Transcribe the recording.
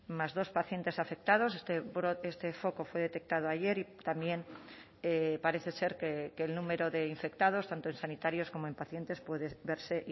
más dos pacientes afectados este brote este foco fue detectado ayer y también parece ser que el número de infectados tanto en sanitarios como en pacientes puede verse